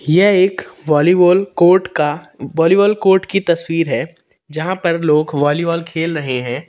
यह एक volleyball court का वॉलीबॉल कोर्ट की तस्वीर है जहाँ पर लोग वॉलीबॉल खेल रहे हैं।